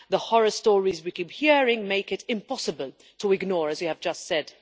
The horror stories we keep hearing make it impossible to ignore, as we have just said.